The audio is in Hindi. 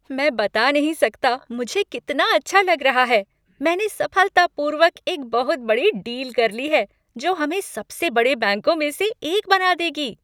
मैं बता नहीं सकता मुझे कितना अच्छा लग रहा है, मैंने सफलतापूर्वक एक बहुत बड़ी डील कर ली है, जो हमें सबसे बड़े बैंकों में से एक बना देगी।